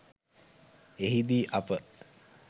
එහි දී අප